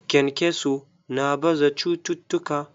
Kenkeso na baza cututtuka.